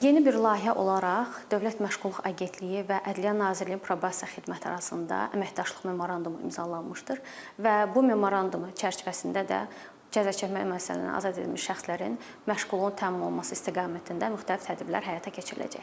Yeni bir layihə olaraq Dövlət Məşğulluq Agentliyi və Ədliyyə Nazirliyinin Probasiya xidməti arasında əməkdaşlıq memorandumu imzalanmışdır və bu memorandum çərçivəsində də cəzaçəkmə müəssisələrindən azad edilmiş şəxslərin məşğulluğunun təmin olunması istiqamətində müxtəlif tədbirlər həyata keçiriləcəkdir.